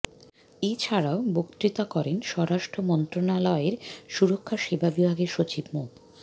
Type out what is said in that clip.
এ ছাড়াও বক্তৃতা করেন স্বরাষ্ট্র মন্ত্রণালয়ের সুরক্ষা সেবা বিভাগের সচিব মো